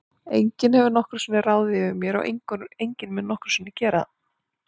Enginn hefur nokkru sinni ráðið yfir mér og enginn mun nokkru sinni gera það.